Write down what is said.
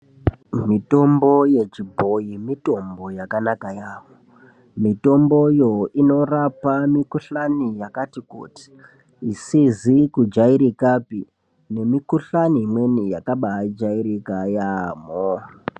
Mitombo yechibhoyi mitombo yakanaka yamho mitomboyo inorapa mikohlani yakati kuti isizi kujairikapi nenikohlani imweni yakabai jairika yamho.